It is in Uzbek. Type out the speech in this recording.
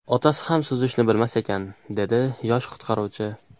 Otasi ham suzishni bilmas ekan”, dedi yosh qutqaruvchi.